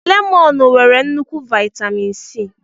Lemọnụ nwere nnukwu viatamịn C.